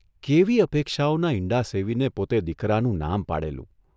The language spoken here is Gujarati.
' કેવી અપેક્ષાઓનાં ઇંડાં સેવીને પોતે દીકરાનું નામ પાડેલું !